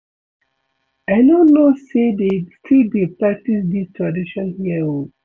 I no know say dey still dey practice dis tradition here oo